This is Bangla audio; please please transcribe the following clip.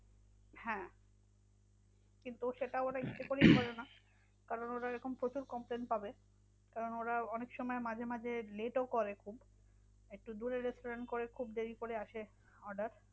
হ্যাঁ কিন্তু সেটা ওরা ইচ্ছা করেই করে না। কারণ ওরা এরকম প্রচুর complain পাবে। কারণ ওরা অনেকসময় মাঝে মাঝে late ও করে খুব একটু দূরের restaurant করে খুব দেরি করে আসে order